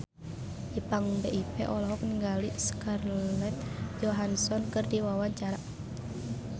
Ipank BIP olohok ningali Scarlett Johansson keur diwawancara